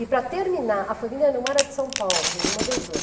E para terminar, a família não era de São Paulo, de nenhuma das duas.